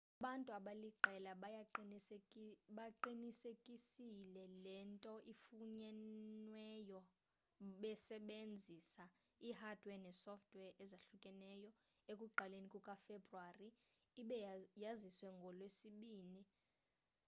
abantu abaliqela bayiqinisekisile le nto ifunyenweyo besebenzisa i-hardware ne-sofware ezahlukahlukeneyo ekuqaleni kukafebuwari ibe yaziswe ngolwesibini